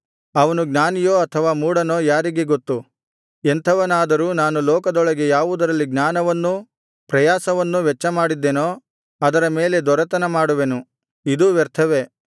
ಅವನು ಜ್ಞಾನಿಯೋ ಅಥವಾ ಮೂಢನೋ ಯಾರಿಗೆ ಗೊತ್ತು ಎಂಥವನಾದರೂ ನಾನು ಲೋಕದೊಳಗೆ ಯಾವುದರಲ್ಲಿ ಜ್ಞಾನವನ್ನೂ ಪ್ರಯಾಸವನ್ನೂ ವೆಚ್ಚಮಾಡಿದ್ದೇನೋ ಅದರ ಮೇಲೆ ದೊರೆತನಮಾಡುವೆನು ಇದೂ ವ್ಯರ್ಥವೇ